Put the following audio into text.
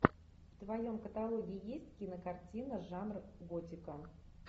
в твоем каталоге есть кинокартина жанр готика